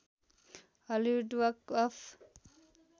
Hollywood walk of